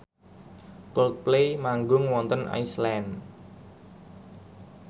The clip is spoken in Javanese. Coldplay manggung wonten Iceland